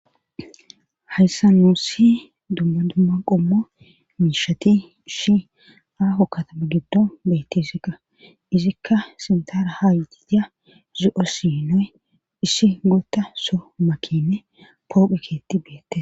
Hayssa nussi dumma dumma qommo miishati ishi aaho katama giddo betesikko izikka sintara haaytida zi'o sinoy issi gulta so makinne pooqe keetti beettees